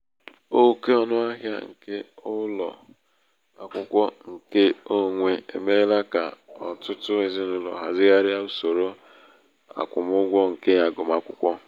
oke ọnụ ahịa nke ụlọ akwụkwọ nke onwe emeela ka ọtụtụ um ezinaụlọ hazigharia usoro akwụmụgwọ nke agụmakwụkwọ.